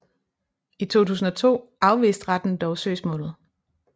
I 2002 afviste retten dog søgsmålet